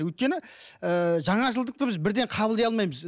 өйткені ы жаңашылдықты біз бірден қабылдай алмаймыз